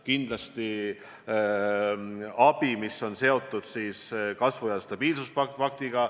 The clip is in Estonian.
Kindlasti on võimalik selline abi, mis on seotud stabiilsuse ja kasvu paktiga.